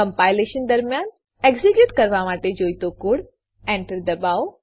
compilation દરમ્યાન execute કરવા માટે જોઈતો કોડ Enter દબાવો